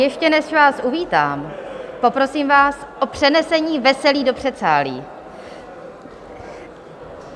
Ještě než vás uvítám, poprosím vás o přenesení veselí do předsálí.